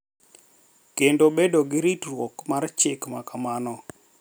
Kendo bedo gi ritruok mar chik ma kamano